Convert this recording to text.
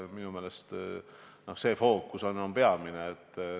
Minu meelest on see peamine.